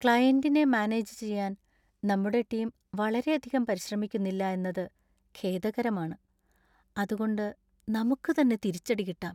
ക്ലയന്‍റിനെ manage ചെയ്യാൻ നമ്മുടെ team വളരെയധികം പരിശ്രമിക്കുന്നില്ല എന്നത് ഖേദകരമാണ്, അത് കൊണ്ട് നമുക്ക് തന്നെ തിരിച്ചടി കിട്ടാം .